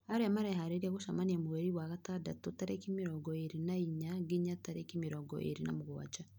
arĩa mareharĩria gũcemania mweri wa gatandatũ tarĩki mĩrongo ĩrĩ na inya nginya tarĩki mĩrongo ĩrĩ na mũgwanja.